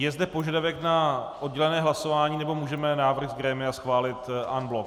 Je zde požadavek na oddělené hlasování, nebo můžeme návrh z grémia schválit en bloc?